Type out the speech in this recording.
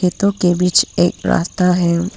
खेतों के बीच एक रास्ता है।